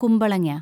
കുമ്പളങ്ങ